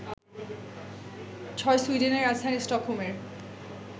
৬. সুইডেনের রাজধানী স্টকহোমের